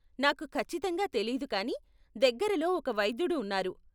నాకు ఖచ్చితంగా తెలీదు కానీ దగ్గరలో ఒక వైద్యుడు ఉన్నారు.